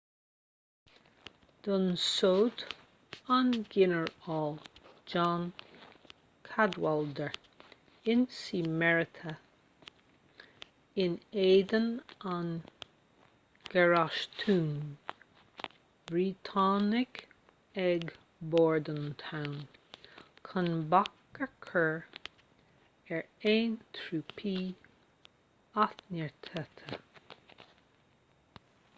d'ionsódh an ginearál john cadwalder ionsaí mearaithe in éadan an gharastúin bhriotánaigh ag bordentown chun bac a chur ar aon thrúpaí athneartaithe